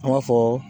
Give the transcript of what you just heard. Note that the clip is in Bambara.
An b'a fɔ